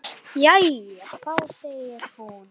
Jæja þá, segir hún.